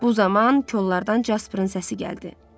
Bu zaman kollardan Jasperin səsi gəldi.